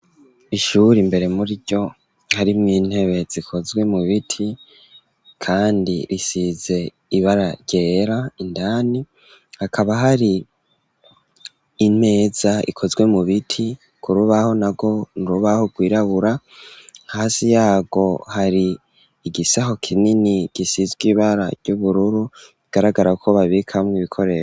Ishuri mbere muriryo hari mw 'intebe zikozwe mu biti, kandi risize ibara ryera ,indani hakaba hari imeza ikozwe mu biti ,ku rubaho na go nurubaho gwirabura ,hasi yago hari igisaho kinini gisizwe ibara ry'ubururu, bigaragara ko babikamwo ibikoresho.